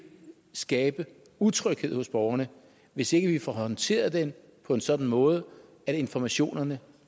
skabe utryghed hos borgerne hvis ikke vi får håndteret den på en sådan måde at informationerne